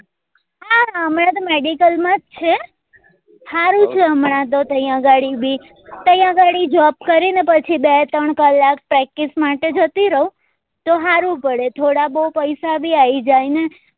હમણાં તો medical માં જ છે હારું છે ત્યાં ઘડી બી ત્યાં ઘડી job કરી ને પછી બે ત્રણ કલાક practice માટે જતી રહું તો હારું પડે થોડા બી પૈસા બી આયી જાય ને